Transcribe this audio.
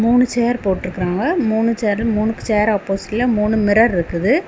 மூணு சேர் போட்டிருக்காங்க. மூணு சேரு மூணு சேரு ஆப்போசிட்ல மூணு மிரர் இருக்குது.